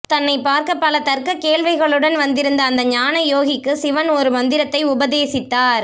தன்னைப் பார்க்க பல தர்க்கக் கேள்விகளுடன் வந்திருந்த அந்த ஞான யோகிக்கு சிவன் ஒரு மந்திரத்தை உபதேசித்தார்